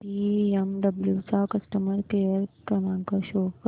BMW चा customer care क्रमांक show कर